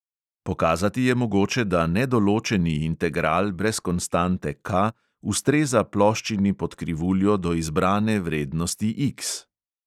Pokazati je mogoče, da nedoločeni integral brez konstante K ustreza ploščini pod krivuljo do izbrane vrednosti X.